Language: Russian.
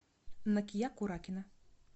накия куракина